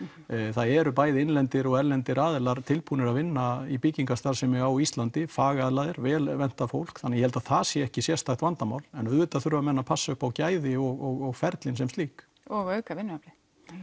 það eru bæði innlendir og erlendir aðilar tilbúnir að vinna í byggingarstarfsemi á Íslandi fagaðilar og vel menntað fólk þannig ég held að það sé ekki sérstakt vandamál en auðvitað þurfa menn að passa upp á gæðin og ferlin sem slík og að auka vinnuaflið